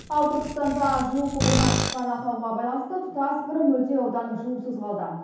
ал түркістанда жылу құбырынан шыққан ақауға байланысты тұтас бір мөлтек аудан жылусыз қалды